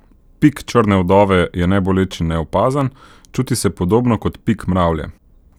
Pik črne vdove je neboleč in neopazen, čuti se podobno kot pik mravlje.